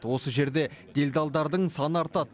осы жерде делдалдардың саны артады